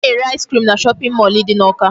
A na-ere ice cream na shopping mall dị n'Awka.